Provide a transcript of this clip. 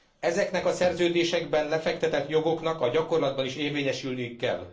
Ezeknek a szerződésekben lefektetett jogoknak a gyakorlatban is érvényesülniük kell.